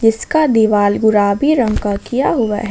इसका दिवाल गुलाबी रंग का किया हुआ है।